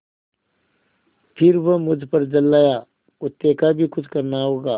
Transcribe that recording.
फिर वह मुझ पर झल्लाया कुत्ते का भी कुछ करना होगा